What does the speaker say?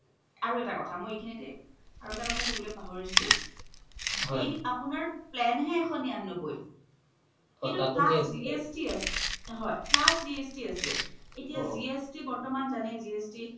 আৰু এটা কথা মই ইখিনিতে আৰু এটা কথা ক'বলই পাহোৰিছিলোয়ে, আপুনাৰ plan হে এশ নিৰান্নবৈ plus GST আছে এতিয়া GST বৰ্তমান জানেই